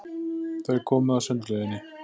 Þau komu að sundlauginni.